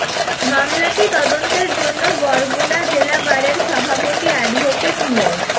মামলাটি তদন্তের জন্য বরগুনা জেলা বারের সভাপতি অ্যাডভোকেট মো